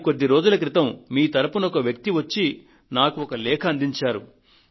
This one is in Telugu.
కానీ కొద్ది రోజుల క్రితం మీ తరఫున ఒక వ్యక్తి వచ్చి నాకు ఒక లేఖ అందించారు